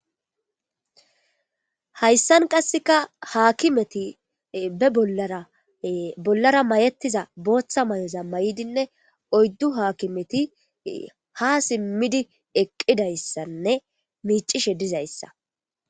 hayssan qasseka haakimeti be bollara bollara mayettiza booththa mayeza may7idinne oyddu haakimeti ha simmidi eqqidayssanne miicishe dizayssa